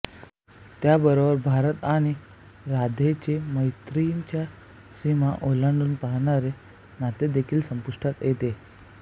त्याबरोबरच भारत आणि राधाचे मैत्रीच्या सीमा ओलांडू पाहणारे नातेदेखील संपुष्टात येते